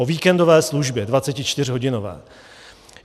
O víkendové službě 24hodinové.